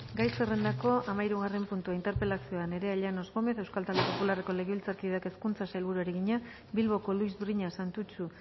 gai zerrendako hamahirugarren puntua interpelazioa nerea llanos gómez euskal talde popularreko legebiltzarkideak hezkuntzako sailburuari egina bilboko luis briñas santutxu